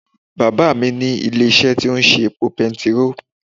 Bàbá à mí ní ilé isé tí ó ń ṣe epo petiró